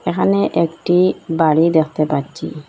এখানে একটি বাড়ি দেখতে পাচ্ছি।